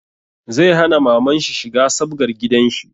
Zai hana mamanshi shiga sabgar gidanshi